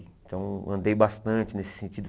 Então, andei bastante nesse sentido.